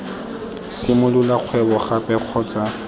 simolola kgwebo gape kgotsa ii